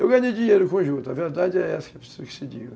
Eu ganhei dinheiro com juta, a verdade é essa, preciso que se diga.